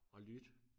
Og lytte